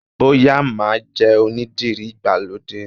Bóyá máa jẹ́ onídìrí ìgbàlódé